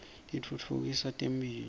titfutfukisa temphilo